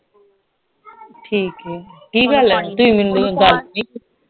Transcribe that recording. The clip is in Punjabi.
ਠੀਕ ਏ ਕਿ ਗੱਲ ਏ